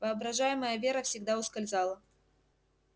воображаемая вера всегда ускользала